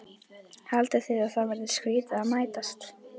Haldið þið að það verið skrýtið að mætast?